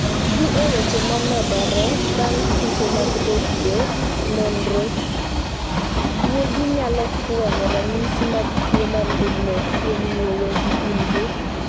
Dhi e weche momedore mag Tuke mag Redio Nonro: Gwogi nyalo fwenyo ranyisi mag tuo mar ndulme kuom ng’ueyo gi umgi